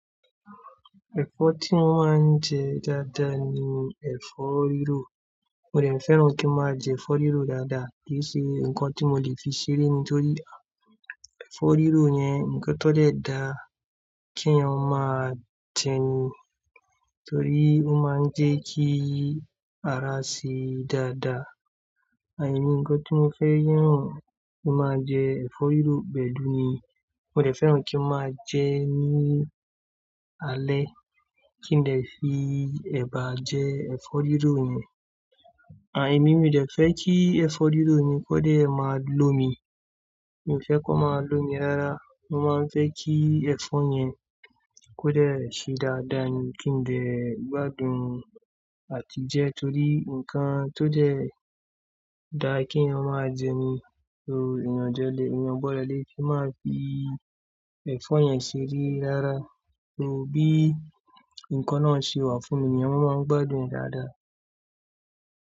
Ẹ̀fọ́ tí mó máa ń jẹ dáadáa ni ẹ̀fọ́ rírò. Mo dẹ̀ fẹ́ràn kí n máa jẹ ẹ̀fọ́ rírò dáadáa, kí i ṣe nǹkan tí mo lè fi ṣeré nítorí ẹ̀fọ́ rírò yẹn nǹkan tó dẹ̀ dá kí èèyàn máa jẹni, torí ó máa ń jẹ́ kí ara ṣe dáadáa. À emí nǹkan tí mo fẹ́ yàn kí n máa jẹ ẹ̀fọ́ rírò pẹ̀lú ni, mo dẹ̀ fẹ́ràn kí n máa jẹ́ ní alẹ́ kí n dè fi ẹ̀bà jẹ ẹ̀fọ́ rírò yẹn. À emí mi dẹ̀ fẹ́ kí ẹ̀fọ́ rírò mi kó dẹ̀ máa lo mi. Mi ò fẹ́ kó máa lo mi rárá. Mo máa ń fẹ́ kí ẹ̀fọ́ yẹn kó dẹ̀ ṣe dáadáa ni kí n lè gbádùn àti jẹ torí nǹkan tó dẹ̀ dá kí èèyàn máa jẹni tó èèyàn gbọ́dọ̀ lè fi máa fi ẹ̀fọ́ yẹn ṣeré rárá torí bí nǹkan náà ṣe wà fún mi ni wọ́n máa ń gbádùn é dáadáa.